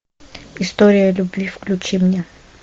история любви включи мне